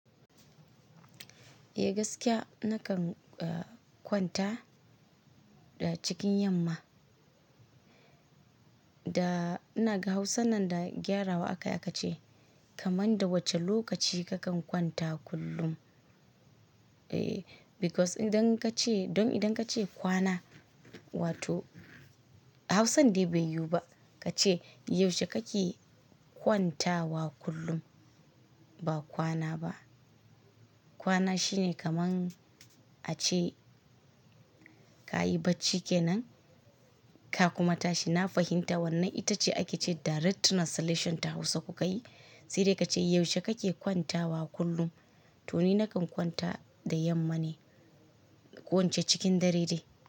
Eh gaskiya nakan kwanta da cikin yamma. Da ina ga Hausan nan da gyarawa akai aka ce kaman da wace lokaci ka kan kwanta kullum? Ehh because idan ka ce, don idan ka ce kwana, wato Hausan dai bai yiwu ba ka ce yaushe kake kwantawa kullum, ba kwana ba. Kwana shine kaman ace ka yi bacci kenan ka kuma tashi. Na fahimta wannan ita ce ake ce direct translation ta Hausa kuka yi. Sai dai ka ce yaushe ka ke kwantawa kullum? To ni nakan kwanta da yamma ne, ko in ce cikin dare dai.